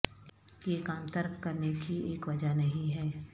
یہ کام ترک کرنے کی ایک وجہ نہیں ہے